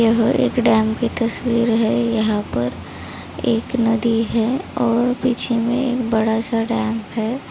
यह एक डैम की तस्वीर है यहा पर एक नदी है और पीछे मे बड़ा-सा डैम है।